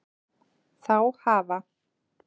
Þá hafa